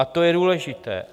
A to je důležité.